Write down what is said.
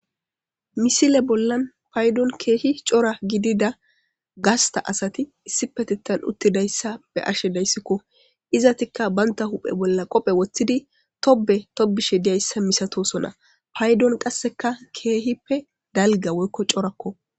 misile bollan paydon keehi cora gidida gasta asati issi petetan uttidayssa be ashe dayssikko izatikka banta huphe bolla qophe woththidi tobe tobishe diyayssa misatosona paydon qasseka keehippe dalga woykko corakko